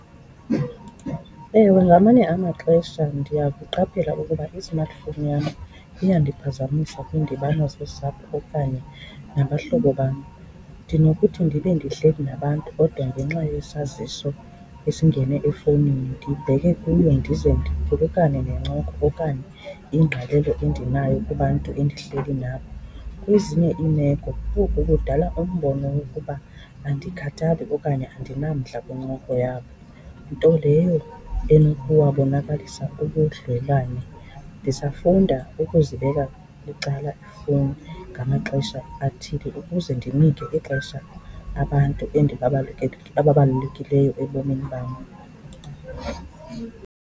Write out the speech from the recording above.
Ewe, ngamanye amaxesha ndiyakuqaphela ukuba i-smartphone yam iyandiphazamisa kwiindibano zosapho okanye nabahlobo bam. Ndinokuthi ndibe ndihleli nabantu kodwa ngenxa yesaziso esingene efowunini ndibheke kuyo ndize ndiphulukane nencoko okanye ingqalelo endinayo kubantu endihleli nabo. Kwezinye iimeko oku kudala umbono wokuba andikhathali okanye andinamdla kwincoko yabo, nto leyo enokuwabonakalisa ubudlelwane. Ndisafunda ukuzibeka bucala iifowuni ngamaxesha athile ukuze ndinike ixesha abantu ababalulekileyo ebomini bam.